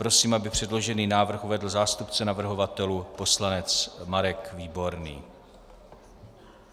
Prosím, aby předložený návrh uvedl zástupce navrhovatelů poslanec Marek Výborný.